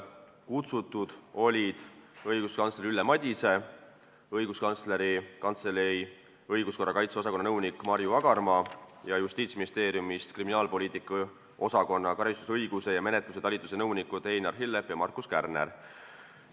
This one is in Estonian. Kutsutud olid õiguskantsler Ülle Madise, Õiguskantsleri Kantselei õiguskorrakaitse osakonna nõunik Marju Agarmaa ning Justiitsministeeriumi kriminaalpoliitika osakonna karistusõiguse ja menetluse talituse nõunikud Einar Hillep ja Markus Kärner.